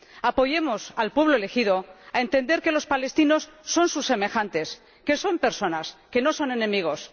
Ayudemos al pueblo elegido a entender que los palestinos son sus semejantes, que son personas, que no son enemigos.